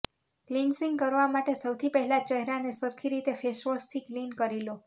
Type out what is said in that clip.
cleansing કરવા માટે સૌથી પહેલાં ચહેરાને સરખી રીતે ફેસવોશથી ક્લિન કરી લો